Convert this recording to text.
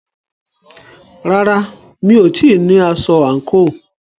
Rárá, mi ò tíì ní aṣọ àǹkóò.